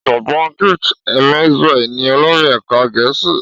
Ọ̀jọ̀gbọ́n Gift Emezue ni olórí ẹ̀ka gẹ̀ẹ́sì